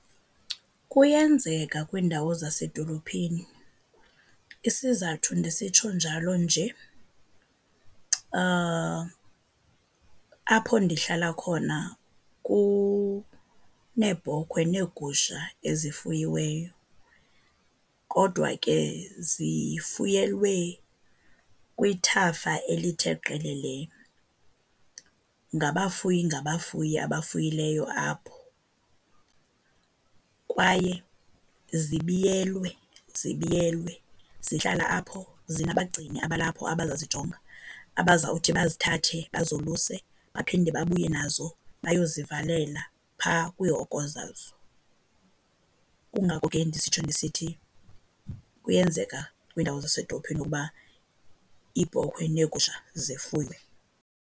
Kuyenzeka kwiindawo zasedolophini. Isizathu ndisitsho njalo nje apho ndihlala khona kuneebhokhwe neegusha ezifuyiweyo, kodwa ke zifuyelwe kwithafa elithe qelelele. Ngabafuyi ngabafuyi abafuyileyo apho kwaye zibiyelwe, zibiyelwe. Zihlala apho zinabagcini abalapho abazazijonga, abazawuthi bazithathe bazoluse baphinde babuye nazo bayozivalela phaa kwiihoko zazo. Kungako ke ndisitsho ndisithi kuyenzeka kwiindawo zasezidolophini ukuba iibhokhwe neegusha zifuywe.